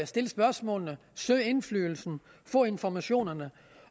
stille spørgsmålene søge indflydelsen få informationerne